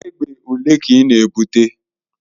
Egbe ole ka ị na-ebute?